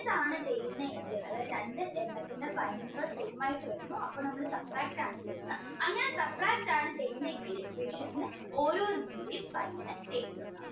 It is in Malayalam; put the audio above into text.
minus ആണ് ചെയ്യുന്നതെങ്കിൽ അതായത് രണ്ടെണ്ണത്തിന്റെ same ആയിട്ട് വരുന്നു അപ്പോ നമ്മള് substract ആണ് ചെയ്യുന്നത് അങ്ങനെ substract ആണ് ചെയ്യുന്നതെങ്കിൽ equation ൽ ഓരോരോ sign